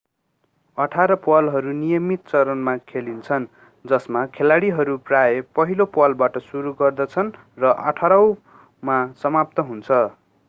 अठार प्वालहरू नियमित चरणमा खेलिन्छन् जसमा खेलाडीहरू प्राय पहिलो प्वालबाट सुरु गर्दछन् र अठारौंमा समाप्त हुन्छ